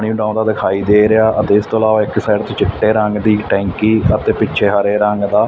ਨਹੀਂ ਆਉਂਦਾ ਦਿਖਾਈ ਦੇ ਰਿਹਾ ਅਤੇ ਇਸ ਤੋਂ ਇਲਾਵਾ ਇੱਕ ਸਾਈਡ ਤੇ ਚਿੱਟੇ ਰੰਗ ਦੀ ਟੈਂਕੀ ਅਤੇ ਪਿੱਛੇ ਹਰੇ ਰੰਗ ਦਾ--